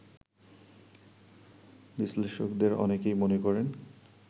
বিশ্লেষকদের অনেকেই মনে করেন